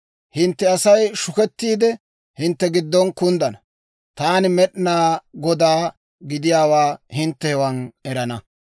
Hintte Asay shukettiide, hintte giddon kunddana. Taani Med'inaa Godaa gidiyaawaa hintte hewan erana.